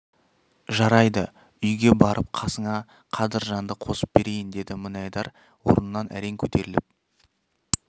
жарайды үйге барып қасыңа қадыржанды қосып берейін деді мінайдар орнынан әрең көтеріліп